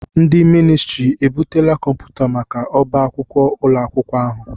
Ndị ministrị e butela kọmputa maka ọ́bá akwụkwọ ụlọ akwụkwọ ahụ?